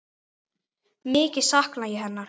Mikið sakna ég hennar.